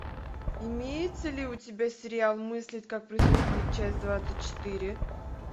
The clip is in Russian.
имеется ли у тебя сериал мыслить как преступник часть двадцать четыре